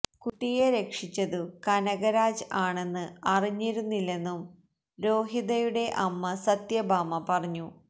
കുട്ടിയെ രക്ഷിച്ചതു കനകരാജ് ആണെന്ന് അറിഞ്ഞിരുന്നില്ലെന്നും രോഹിതയുടെ അമ്മ സത്യഭാമ പറഞ്ഞു